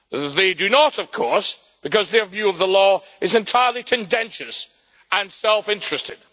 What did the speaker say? They do not, of course, because their view of the law is entirely contentious and self interested.